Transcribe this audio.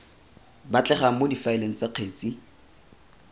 batlegang mo difaeleng tsa kgetsi